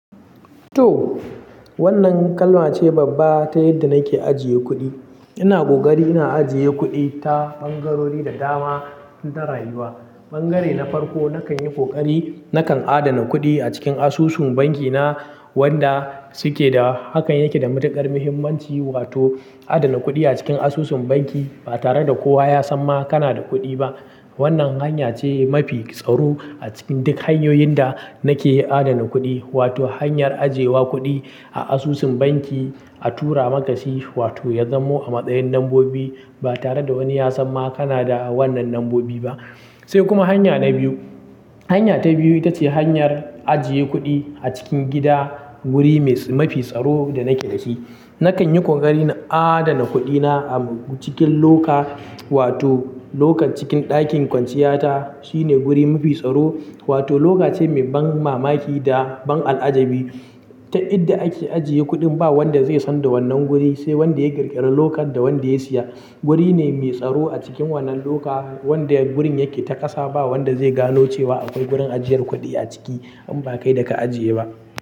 To, wannan kalmace babba ta yadda nake ajiye kuɗi. Ina ƙoƙari ina ajiye kuɗi ta ɓangarori da dama tun da rayuwa. Ɓangare na farko nakan yi ƙoƙari nakan adana kuɗi a cikin asusun banki na wanda suke da, hakan yake da matuƙar muhimmanci. Wato adana kuɗi a cikin asusun banki ba tare da kowa ya san ma kana da kuɗi ba. Wannan hanya ce mafi tsaro a cikin duk hanyoyin da nake adana kuɗi. Wato hanyar ajiyewa kuɗi a asusun banki a tura makasi wato ya zamo a matsayin lambobi ba tare da wani ya san ma kana da wannan lambobi ba. Sai kuma hanya na biyu. Hanya ta biyu ita ce hanyar ajiye kuɗi a cikin gida, wuri mafi tsaro da nake dashi. Nakan yi ƙoƙari na adana kuɗina a cikin loka wato lokan cikin ɗakin kwanciyata. Shi ne wuri mafi tsaro wato loka ce mai ban mamaki da ban al'ajabi. Ta inda ake ajiye kuɗin ba wanda zai san da wannan guri sai wanda ya ƙirƙiri lokan da wanda ya siya. Wuri ne mai tsaro a cikin wannan loka wanda wurin yake ta ƙasa ba wanda zai gano cewa akwai gurin ajiyar kuɗi a ciki in ba kai da ka ajiye ba.